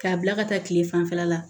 K'a bila ka taa kile fanfɛla la